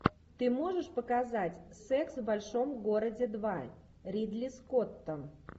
ты можешь показать секс в большом городе два ридли скотта